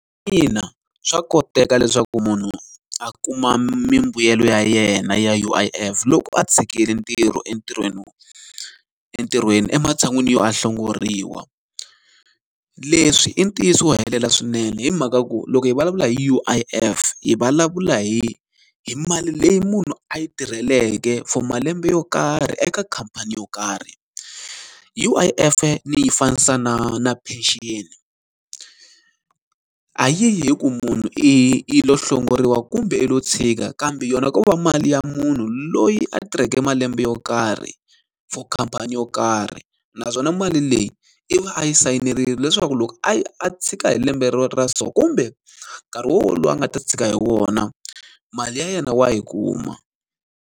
Ina swa koteka leswaku munhu a kuma mimbuyelo ya yena ya U_I_F loko a tshikile ntirho entirhweni entirhweni ematshan'wini yo a hlongoriwa. Leswi i ntiyiso helela swinene hi mhaka ku loko hi vulavula hi U_I_F, hi vulavula hi hi mali leyi munhu a yi tirheke for malembe yo karhi eka khamphani yo karhi. U_I_F-e ni yi fanisa na na penceni. A yi yi hi ku munhu i i lo hlongoriwa kumbe i lo tshika kambe, yona ko va mali ya munhu loyi a tirheke malembe yo karhi for khamphani yo karhi. Naswona mali leyi i va a yi sayinerile leswaku loko a a tshika hi lembe ra so kumbe nkarhi wolowo a nga ta tshika hi wona, mali ya yena wa yi kuma.